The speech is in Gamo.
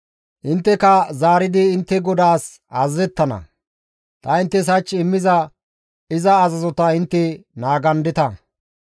Intteka zaaridi intte GODAAS azazettana; ta inttes hach immiza iza azazota intte naagandeta.